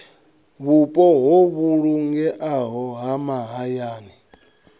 vhupo ho vhulungeaho ha mahayani